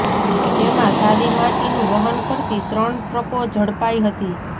જેમાં સાદી માટીનું વહન કરતી ત્રણ ટ્રકો ઝડપાઈ હતી